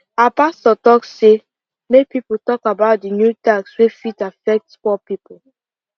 our pastor talk say make people talk about the new tax wey fit affect poor people